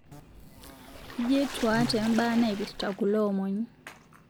Ijetuaa tembaa naipirita kuloomon